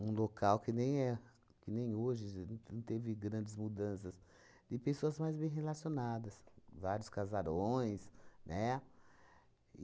Um local que nem é, que nem hoje não teve grandes mudanças de pessoas mais bem relacionadas, vários casarões, né?